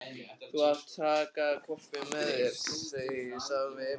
Þú mátt taka hvolpinn með þér, sagði hún við Emil.